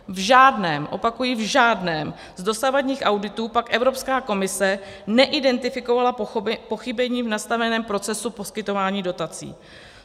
V žádném - opakuji v žádném - z dosavadních auditů pak Evropská komise neidentifikovala pochybení v nastaveném procesu poskytování dotací.